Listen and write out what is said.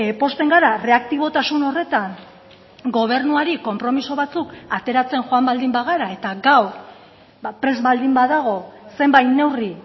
pozten gara erreaktibotasun horretan gobernuari konpromiso batzuk ateratzen joan baldin bagara eta gaur prest baldin badago zenbait neurri